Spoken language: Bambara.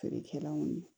Feerekɛlaw ye